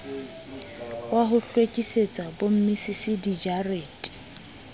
wa ho hlwekisetsa bommisisi dijarete